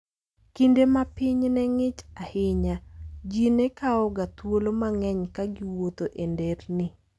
Kinde ma piny ne ng'ich ahinya, ji ne kawoga thuolo mang'eny ka giwuotho e nderni.